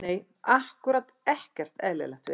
Nei ákkúrat ekkert eðlilegt við þetta.